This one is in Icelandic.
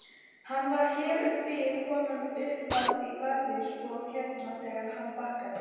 Hann var hér um bil kominn upp í garðinn sko hérna þegar hann bakkaði.